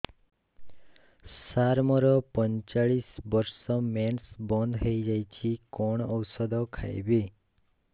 ସାର ମୋର ପଞ୍ଚଚାଳିଶି ବର୍ଷ ମେନ୍ସେସ ବନ୍ଦ ହେଇଯାଇଛି କଣ ଓଷଦ ଖାଇବି